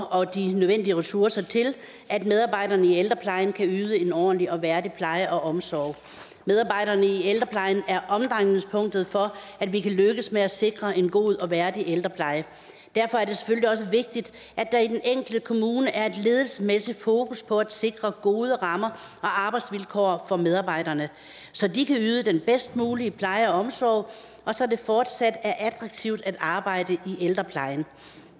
og de nødvendige ressourcer til at medarbejderne i ældreplejen kan yde en ordentlig og værdig pleje og omsorg medarbejderne i ældreplejen er omdrejningspunktet for at vi kan lykkes med at sikre en god og værdig ældrepleje derfor er det selvfølgelig også vigtigt at der i den enkelte kommune er et ledelsesmæssigt fokus på at sikre gode rammer og arbejdsvilkår for medarbejderne så de kan yde den bedst mulige pleje og omsorg og så det fortsat er attraktivt at arbejde i ældreplejen